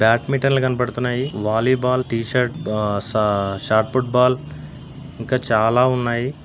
Badminton లు కనపడుతున్నాయి volleyball T shirt short football ఇంకా చాలా ఉన్నాయి. బ్యాగు లు ఉన్నాయి .చాలా ఉన్నాయి. బ్యాట్మెంటన్ తో చాలా బాగా బ్యాట్మింటన్ ఆడొచ్చు. షటిల్ కాక్ ఆడొచ్చు.